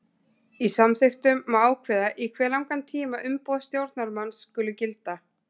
Í samþykktum má ákveða í hve langan tíma umboð stjórnarmanns skuli gilda.